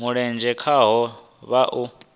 mulenzhe khaho vha o a